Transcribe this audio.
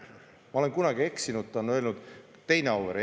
Ma olen kunagi eksinud, ta on öelnud "teine Auvere".